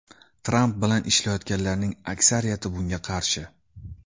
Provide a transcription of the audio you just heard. Tramp bilan ishlayotganlarning aksariyati bunga qarshi.